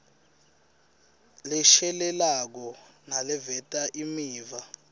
leshelelako naleveta imiva